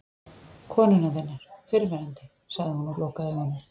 Konunnar þinnar. fyrrverandi, sagði hún og lokaði augunum.